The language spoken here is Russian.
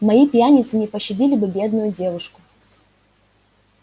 мои пьяницы не пощадили бы бедную девушку